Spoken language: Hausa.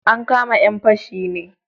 An kama 'yan fashi ne